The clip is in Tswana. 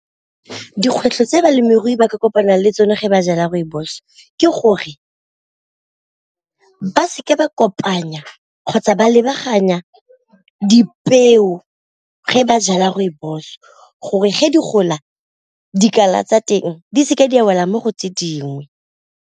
Dikgwetlho tse balemirui ba ka kopana le tsone ge ba jala rooibos ke gore ba seke ba kopanya kgotsa ba lebagana dipeo ge ba jala rooibos, gore ge di gola dikala tsa teng di seke di a wela mo go tse dingwe.